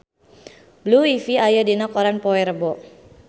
Blue Ivy aya dina koran poe Rebo